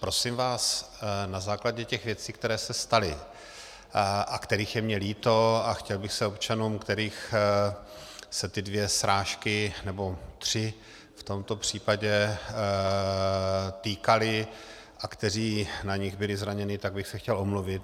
Prosím vás, na základě těch věcí, které se staly a kterých je mi líto, a chtěl bych se občanům, kterých se ty dvě srážky nebo tři v tomto případě týkaly a kteří na nich byli zraněni, tak bych se chtěl omluvit.